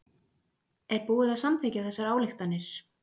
Er búið að samþykkja þessar ályktanir?